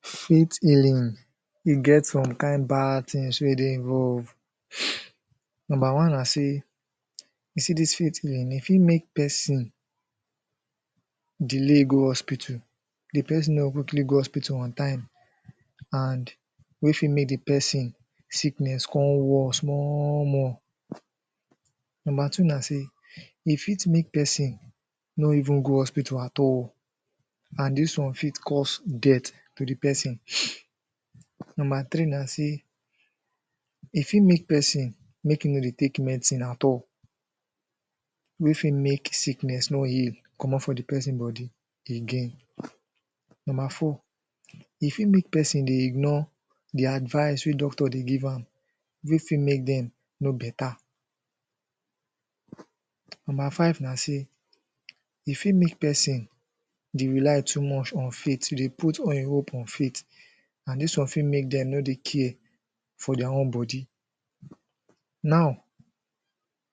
Faith healing e get some kind bad things wey dey involve Nomba one na sey u see dis faith healing e fit make person Delay go hospital. Di person no go quickly go hospital on time. And wey fit make di person sickness con worse more more. Nomba two na sey e fit make person no even go hospital at all. And dis one fit cause death to di person Nomba three na sey E fit make person make im no dey take medicine at all. Wey fit make sickness no heal comot for di person body again. Nomba four, e fit make person dey ignore di advice wey doctor dey give am. Wey fit make dem no better Nomba five na sey e fit make person dey rely too much on faith, to dey put all im hope on faith. And this one fit make dem no dey care for their own body. Now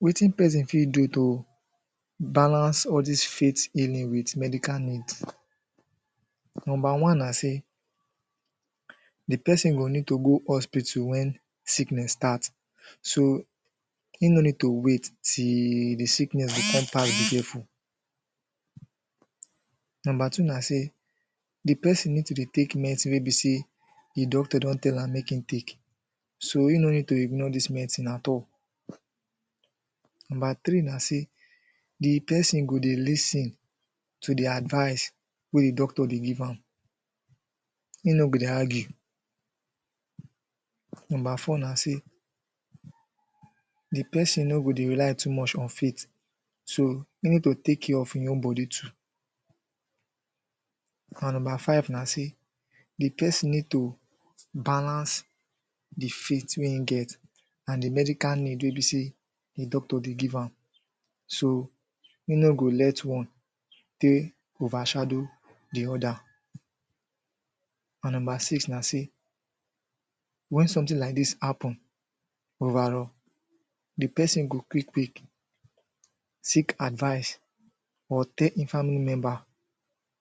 wetin person fit do to balance all dis faith healing with medical needs Nomba one na sey di person go need to go hospital when sickness start. So, im no need to wait till di sickness go con pass be careful Nomba two na sey di person need to dey take medicine wey be sey di doctor don tell am make im take So im no need to ignore dis medicine at all Nomba three na sey di person go dey lis ten to di advice wey di doctor dey give am Im no go dey argue Nomba four na sey di person no go dey rely too much on faith So im need to take care of im own body too And nomba five na sey di person need to balance Di faith wey im get and di medical need wey be sey di doctor dey give am. So, im no go let one take overshadow di oda. And nomba six na sey when something like dis happen overall, di person go quick quick seek advice. Or tell im family member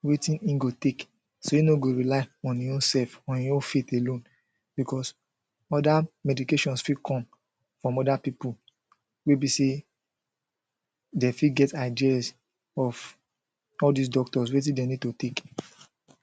wetin im go take So im no go rely on im own sef or im own faith alone becos Oda medications fit come from oda pipu wey be sey Dem fit get ideas of all dis doctors wetin dem need to take